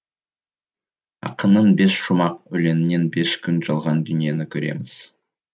ақынның бес шумақ өлеңінен бес күн жалған дүниені көреміз